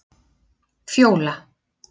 Fjóla